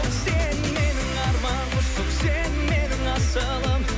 сен менің арманымсың сен менің асылым